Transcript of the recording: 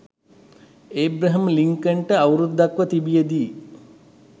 Abraham ලින්කන්ට අවුරුද්දක්ව තිබියදී